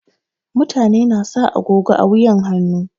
Mutane na sa agogo a wuyan hannu.